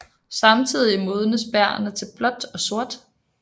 Samtidigt modnes bærrene til blåt og sort